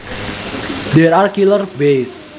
There are killer bees